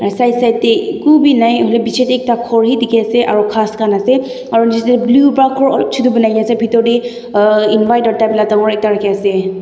side side eku bhi nai etu piche te ekta khori dekhi ase aru gass khan ase aru blue para ghor chotu banai kina ase aru pithor teh uhhh ekta rakhina ase.